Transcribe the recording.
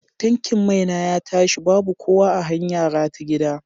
Tankin mai na ya tashi babu kowa a hanyara ta gida.